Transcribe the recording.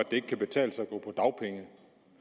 ikke kan betale sig at